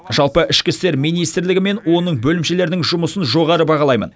жалпы ішкі істер министрлігі мен оның бөлімшелерінің жұмысын жоғары бағалаймын